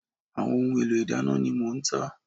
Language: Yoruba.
Àwọn ohun èlò ìdáná ni mò ń tà